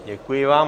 Děkuji vám.